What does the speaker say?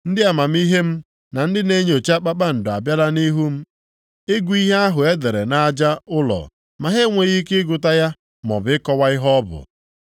Ndị amamihe m, na ndị na-enyocha kpakpando abịala nʼihu m ịgụ ihe ahụ e dere nʼaja ụlọ ma ha enweghị ike ịgụta ya maọbụ ịkọwa ihe ọ bụ.